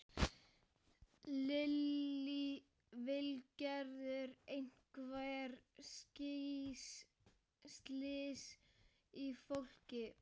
Lillý Valgerður: Einhver slys á fólki?